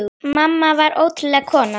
Mamma var ótrúleg kona.